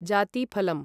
जातीफलम्